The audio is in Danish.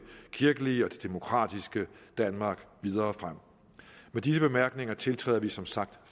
kirkelige og det demokratiske danmark videre frem med disse bemærkninger tiltræder vi som sagt